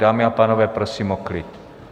Dámy a pánové, prosím o klid.